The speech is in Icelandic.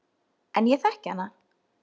En ég þekki hana.